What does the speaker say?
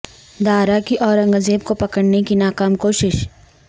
دارا کی اورنگ زیب کو پکڑنے کی ناکام کوشش